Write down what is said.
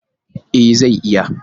E, zai yi.